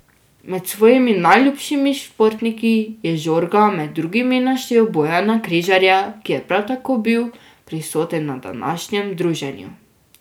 Med svojimi najljubšimi športniki je Žorga med drugimi naštel Bojana Križaja, ki je prav tako bil prisoten na današnjem druženju.